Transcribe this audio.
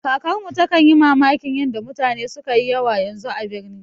Kakarmu takan yi mamakin yanda mutane sukayi yawa yanzu a birni